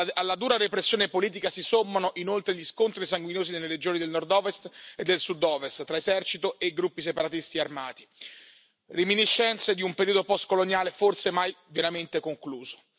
Alla dura repressione politica si sommano inoltre gli scontri sanguinosi nelle regioni del nord ovest e del sud ovest, tra esercito e gruppi separatisti armati, reminiscenze di un periodo postcoloniale forse mai veramente concluso.